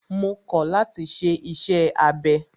Mo kọ̀ láti ṣe iṣẹ́ abẹ!